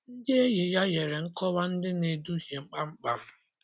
Ndị enyi ya nyere nkọwa ndị na-eduhie kpamkpam.